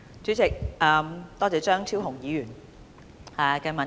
主席，多謝張超雄議員的質詢。